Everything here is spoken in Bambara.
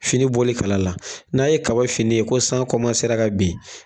Fini bɔli kala la, n'a ye kaba finɛ ye ko san ka bin.